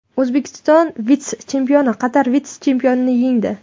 O‘zbekiston vitse-chempioni Qatar vitse-chempionini yengdi.